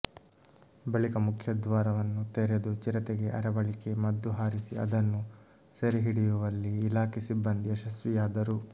ಬಳಿಕ ಮುಖ್ಯದ್ವಾರವನ್ನು ತೆರೆದು ಚಿರತೆಗೆ ಅರವಳಿಕೆ ಮದ್ದು ಹಾರಿಸಿ ಅದನ್ನು ಸೆರೆ ಹಿಡಿಯುವಲ್ಲಿ ಇಲಾಖೆ ಸಿಬ್ಬಂದಿ ಯಶಸ್ವಿಯಾದರು